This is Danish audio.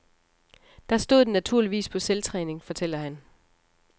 Der stod den naturligvis på selvtræning, fortæller han.